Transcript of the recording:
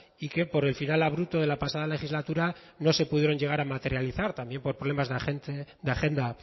y que por el final abrupto de la pasada legislatura no se pudieron llegar a materializar también por problemas de agenda